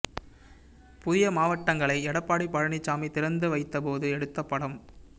புதிய மாவட்டங்களை எடப்பாடி பழனிசாமி திறந்து வைத்த போது எடுத்த படம்